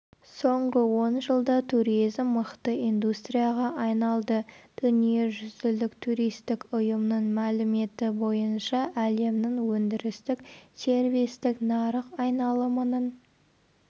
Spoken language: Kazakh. соңғы он жылда туризм мықты индустрияға айналды дүниежүзілік туристік ұйымның мәліметі бойынша әлемнің өндірістік-сервистік нарық айналымының